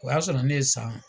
O y'a sɔrɔ ne ye san